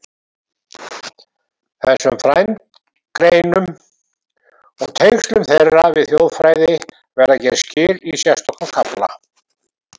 Þessum frændgreinum og tengslum þeirra við þjóðfræði verða gerð skil í sérstökum kafla.